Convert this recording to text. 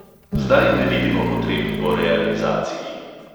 Zdaj ne vidimo potreb po realizaciji.